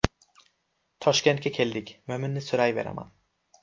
Toshkentga keldik, Mo‘minni so‘rayveraman.